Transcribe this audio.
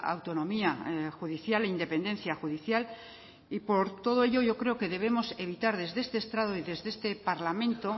autonomía judicial e independencia judicial y por todo ello yo creo que debemos evitar desde este estrado desde este parlamento